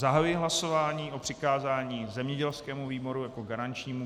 Zahajuji hlasování o přikázání zemědělskému výboru jako garančnímu.